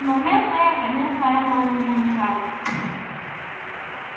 но местные конечно этого не замечали